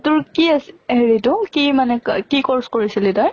তোৰ কি আছি হেৰি টো কি মানে ক কি course কৰিছিলি তই?